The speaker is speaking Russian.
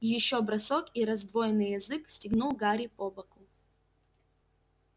ещё бросок и раздвоенный язык стегнул гарри по боку